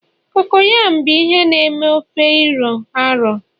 cocoyam bụ ihe na eme ofe iro a ro